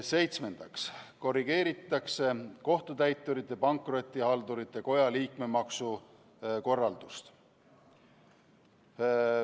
Seitsmendaks korrigeeritakse Kohtutäiturite ja Pankrotihaldurite Koja liikmemaksu korraldust.